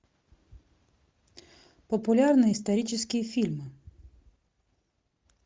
популярные исторические фильмы